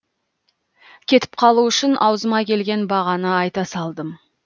кетіп қалу үшін аузыма келген бағаны айта салдым